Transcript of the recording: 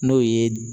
N'o ye